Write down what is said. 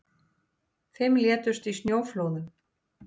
Fimm létust í snjóflóðum